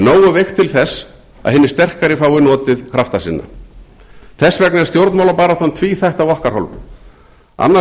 nógu veikt til þess að hinir sterkari fái notið krafta sinna þess vegna er stjórnmálabaráttan tvíþætt af okkar hálfu annars vegar